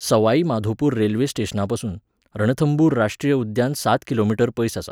Sawai Madhopur railway स्टेशनापसून रणथंबूर राश्ट्रीय उद्यान सात किलो मीटर पयस आसा.